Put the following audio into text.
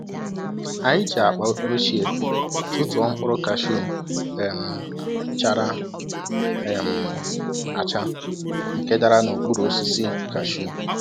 Anyi ji akpa ochie tụtụọ mkpụrụ kashu um chara um acha nke dara n'okpuru osisi kashu.